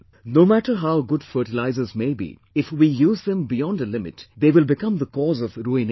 No matter how good fertilisers may be, if we use them beyond a limit they will become the cause of ruination